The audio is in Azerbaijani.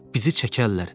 Bizi çəkərlər.